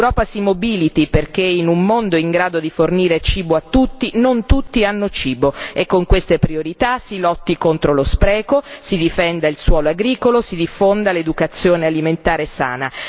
L'Europa si mobiliti perché in un mondo in grado di fornire cibo a tutti, non tutti hanno cibo, e con queste priorità si lotti contro lo spreco, si difenda il suolo agricolo, si diffonda l'educazione alimentare sana